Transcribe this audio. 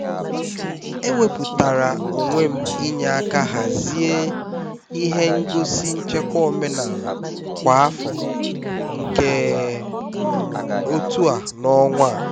e wepụtara onwe m inye aka hazie ihe ngosi nchekwa omenala kwa afọ nke um otu a n'ọnwa a